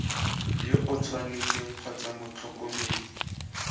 yo o tshwanetseng kgotsa motlhokomedi